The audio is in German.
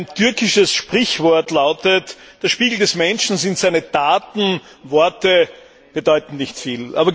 Ein türkisches Sprichwort lautet Der Spiegel des Menschen sind seine Taten, Worte bedeuten nicht viel.